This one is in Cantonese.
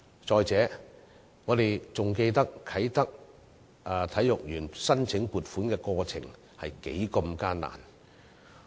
再者，我們還記得啟德體育園申請撥款的過程多麼艱難。